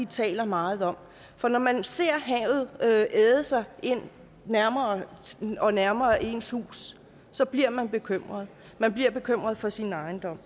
taler meget om for når man ser havet æde sig nærmere og nærmere ind på ens hus så bliver man bekymret man bliver bekymret for sin ejendom